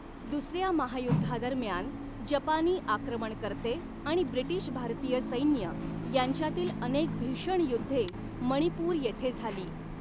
दुसऱ्या महायुद्धादरम्यान, जपानी आक्रमणकर्ते आणि ब्रिटीश भारतीय सैन्य यांच्यातील अनेक भीषण युद्धे मणिपूर येथे झाली.